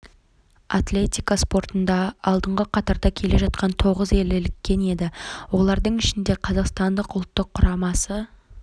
атлетика спортында алдыңғы қатарда келе жатқан тоғыз ел іліккен еді олардың ішінде қазақстан ұлттық құрамасы